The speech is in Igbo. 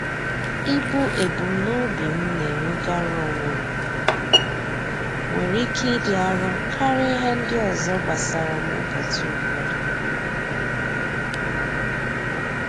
Ibu ebumnobi m na-enwegara onwe m, nwere ike ịdị arọ karịa ihe ndị ọzọ gbasara m ụbọchị ụfọdụ.